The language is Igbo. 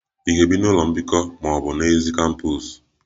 Ị ga-ebi n'ụlọ mbikọ ma ọ bụ n'èzí kampos?